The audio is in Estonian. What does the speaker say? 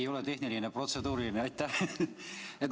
Ei ole tehniline, protseduuriline, aitäh!